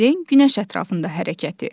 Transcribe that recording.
Yerin günəş ətrafında hərəkəti.